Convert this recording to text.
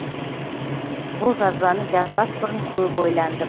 бұл жазбаны жазбас бұрын көп ойландым